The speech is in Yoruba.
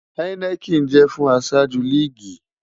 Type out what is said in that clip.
Heineken jẹ fun aṣaju liigi